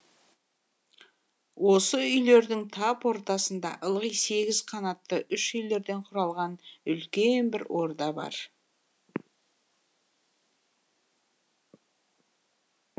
осы үйлердің тап ортасында ылғи сегіз қанатты үш үйлерден құралған үлкен бір орда бар